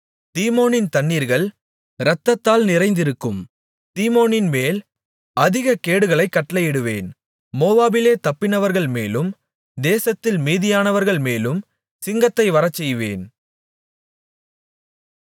தீமோனின் தண்ணீர்கள் இரத்தத்தால் நிறைந்திருக்கும் தீமோனின்மேல் அதிகக் கேடுகளைக் கட்டளையிடுவேன் மோவாபிலே தப்பினவர்கள்மேலும் தேசத்தில் மீதியானவர்கள்மேலும் சிங்கத்தை வரச்செய்வேன்